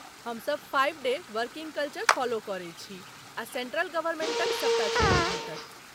हम सब five day working culture follow करै छी आ सेण्ट्रल गवर्नमेण्टक सबटा छुट्टी भेटत।